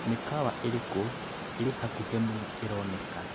mikawa iriku iri hakuhe muno ironeka